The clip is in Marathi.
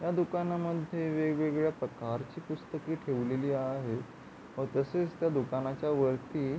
या दुकानामध्ये वेगवेगळ्या प्रकारची पुस्तके ठेवलेली आहेत व तसेच त्या दुकानाच्या वरती --